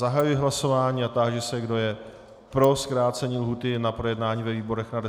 Zahajuji hlasování a táži se, kdo je pro zkrácení lhůty na projednání ve výborech na 10 dnů.